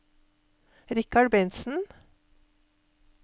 Richard Bentsen